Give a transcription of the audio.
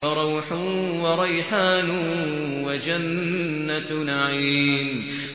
فَرَوْحٌ وَرَيْحَانٌ وَجَنَّتُ نَعِيمٍ